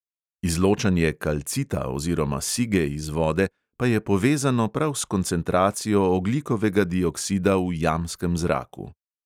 Izločanje kalcita oziroma sige iz vode pa je povezano prav s koncentracijo ogljikovega dioksida v jamskem zraku.